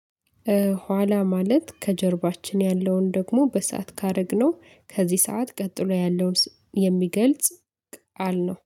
ኋላ ማለት ከጀርባችን ያለውን ደግሞ በሰአት ካረግነው ከዚህ ሰዓት ቀጥሎ ያለውን የሚገልጽ ቃል ነው።